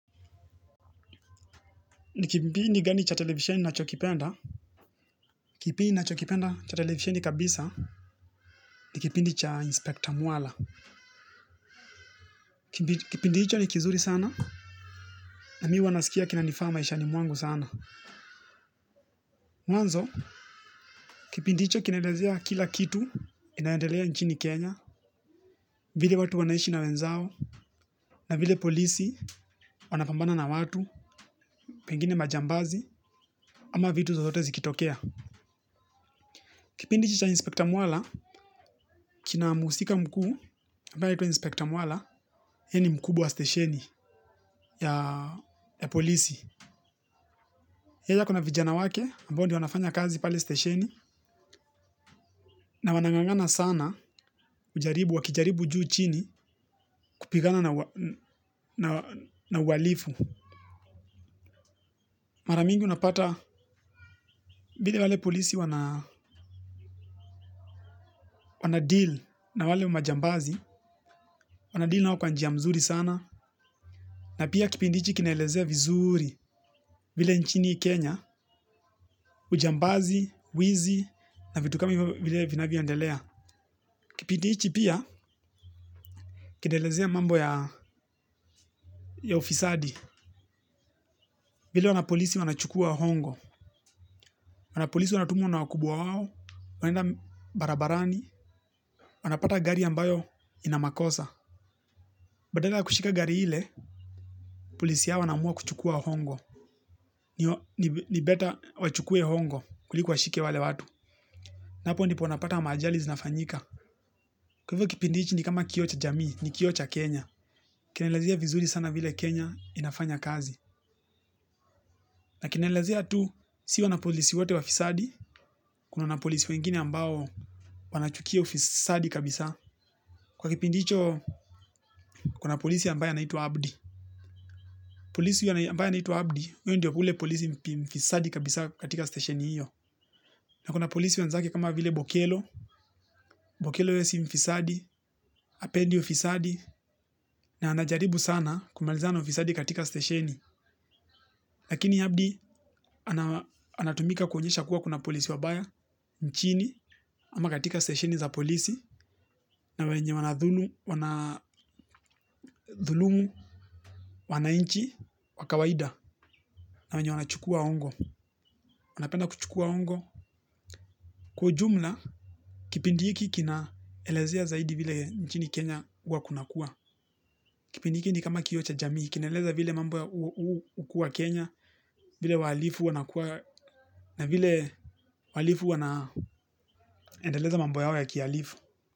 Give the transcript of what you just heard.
Ni kipindi gani cha televisheni ninachokipenda. Kipindi ninachokipenda cha televisheni kabisa. Ni kipindi cha inspekta mwala. Kipindi hicho ni kizuri sana. Na mi huwa nasikia kinanifaa maishani mwangu sana. Mwanzo, kipindi hicho kinaelezea kila kitu. Inayoendelea nchini Kenya. Vile watu wanaishi na wenzao. Na vile polisi wanapambana na watu. Pengine majambazi. Ama vitu zozote zikitokea. Kipindi cha inspekta mwala. Kina mhusika mkuu ambaye anaitwa inspekta mwala ye ni mkubwa wa stesheni ya polisi. Yei ako na vijana wake ambao ndio wanafanya kazi pale stesheni. Na wanang'ang'ana sana kujaribu, wakijaribu juu chini. Kupigana na uhalifu. Mara mingi unapata vile wale polisi wana wanadeal na wale majambazi. Wanadeal nao kwa njia mzuri sana. Na pia kipindi hichi kinaelezea vizuri. Vile nchini Kenya Ujambazi, wizi. Na vitu kama vile vinavyoendelea. Kipindi hichi pia. Kinaelezea mambo ya ufisadi. Vile wanapolisi wanachukua hongo. Wanapolisi wanatumwa na wakubwa wao. Wanaenda barabarani. Wanapata gari ambayo ina makosa. Badala kushika gari ile. Polisi yao wanaamua kuchukua hongo. Ni better wachukue hongo kuliko washike wale watu. Napo ndipo unapata maajali zinafanyika. Kwa hivyo kipindi hichi ni kama kioo cha jami. Ni kioo cha Kenya. Kinaelezea vizuri sana vile Kenya inafanya kazi. Na kinaelezea tu. Si wanapolisi wote wafisadi. Kuna wanapolisi wengine ambao wanachukia ufisadi kabisa kwa kipindi hicho kuna polisi ambaye anaitwa Abdi. Polisi ambaye anaitwa Abdi. Uyo ndio ule polisi mfisadi kabisa katika stesheni hiyo. Na kuna polisi wenzake kama vile bokelo Bokelo ye si mfisadi hapendi ufisadi. Na anajaribu sana kumaliza na ufisadi katika stesheni. Lakini Abdi anatumika kuonyesha kuwa kuna polisi wabaya. Nchini ama katika stesheni za polisi. Na wenye wanadhulumu, wananchi, wa kawaida. Na wenye wanachukua hongo. Wanapenda kuchukua hongo. Kwa ujumla, kipindi hiki kinaelezea zaidi vile nchini Kenya huwa kunakua. Kipindi hiki ni kama kioo cha jamii. Kinaeleza vile mambo ya hukuwa Kenya. Vile wahalifu wanakuwa. Na vile wahalifu wanaendeleza mambo yao ya kihalifu.